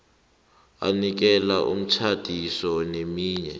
anikele umtjhadisi neminye